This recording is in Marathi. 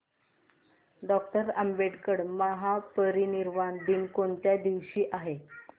डॉक्टर आंबेडकर महापरिनिर्वाण दिन कोणत्या दिवशी आहे